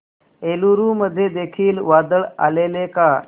एलुरू मध्ये देखील वादळ आलेले का